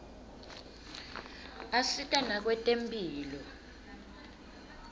asita nakwetemphilo